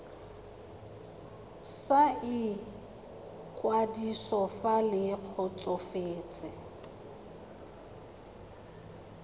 sa ikwadiso fa le kgotsofetse